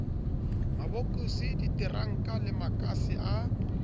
mabokose diteranka le makase a